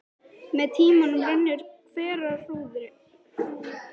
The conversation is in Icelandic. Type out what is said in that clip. Með tímanum rennur hverahrúðrið saman og myndar þéttan ópal.